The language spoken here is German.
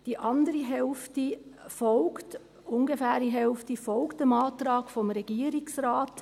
Die andere ungefähre Hälfte folgt dem Antrag des Regierungsrates.